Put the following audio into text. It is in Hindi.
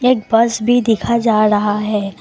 एक बस भी दिखा जा रहा है ।